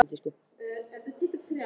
Hann hlær og grætur í senn.